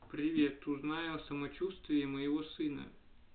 привет узнай о самочувствии моего сына